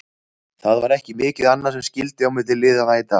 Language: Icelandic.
Það var ekki mikið annað sem skyldi á milli liðanna í dag.